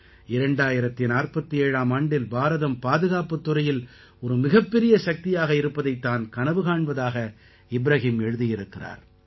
2047ஆம் ஆண்டில் பாரதம் பாதுகாப்புத் துறையில் ஒரு மிகப்பெரிய சக்தியாக இருப்பதைத் தான் கனவு காண்பதாக இப்ராஹிம் எழுதியிருக்கிறார்